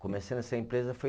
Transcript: Comecei nessa empresa foi.